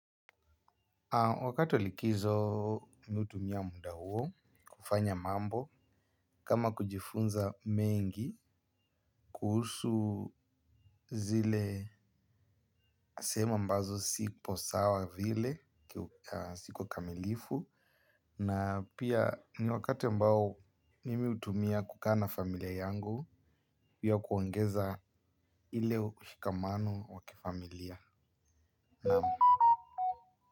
Wakati wa likizo mi hutumia muda huo kufanya mambo kama kujifunza mengi kuhusu zile sehemu ambazo sipo sawa vile siku kamilifu na pia ni wakati mbao mimi hutumia kukaa na familia yangu juu ya kuongeza ile ushikamano wa kifamilia naam.